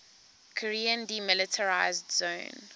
korean demilitarized zone